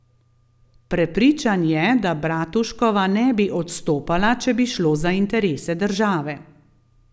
Prepričan je, da Bratuškova ne bi odstopala, če bi šlo za interese države.